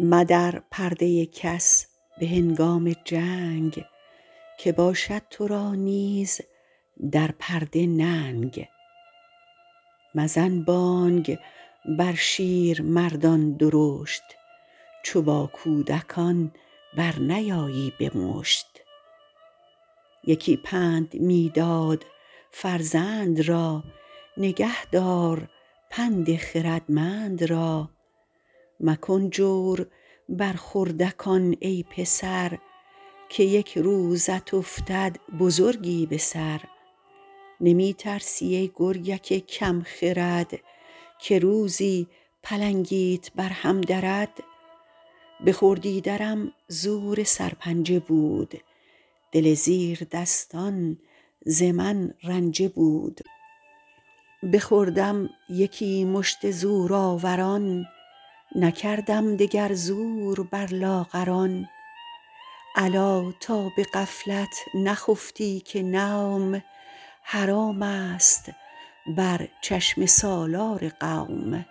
مدر پرده کس به هنگام جنگ که باشد تو را نیز در پرده ننگ مزن بانگ بر شیرمردان درشت چو با کودکان برنیایی به مشت یکی پند می داد فرزند را نگه دار پند خردمند را مکن جور بر خردکان ای پسر که یک روزت افتد بزرگی به سر نمی ترسی ای گرگک کم خرد که روزی پلنگیت بر هم درد به خردی درم زور سرپنجه بود دل زیردستان ز من رنجه بود بخوردم یکی مشت زورآوران نکردم دگر زور بر لاغران الا تا به غفلت نخفتی که نوم حرام است بر چشم سالار قوم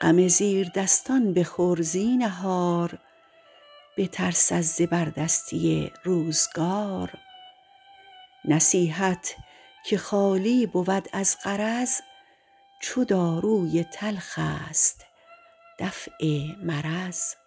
غم زیردستان بخور زینهار بترس از زبردستی روزگار نصیحت که خالی بود از غرض چو داروی تلخ است دفع مرض